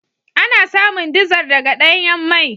Ana samun dizar daga danyan mai.